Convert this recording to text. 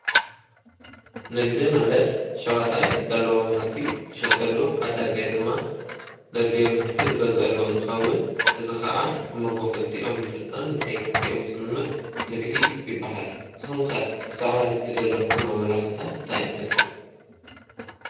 ንግዲ ማለት ሸዋጣኣይ ለለዋ ምህርቲ ክሸጠሉ ዓዳጋይ ድማ ደድልዮም ምህርቲ ልገዘአሉ እንትኸውን እዝ ኸዓ ኣብ መንጎ ኽልቲኦም ልፍጸም ናይ ክልቲኦም ስምምዕ ንግዲ ይበሃል ዝምከ ብዛዕባ ንግዲ ለለኽኩም ኣመላኽታ እታይ ይመስል?